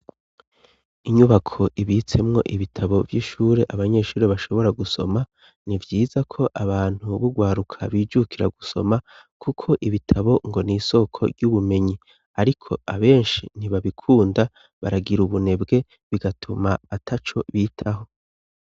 Inyubako ibitsemwo ibitabo vy'ishure abanyeshure bashobora gusoma ni vyiza ko abantu b'ugwaruka bijukira gusoma kuko ibitabo ngo n' isoko ry'ubumenyi ariko abenshi ntibabikunda baragira ubunebwe bigatuma ataco bitaho.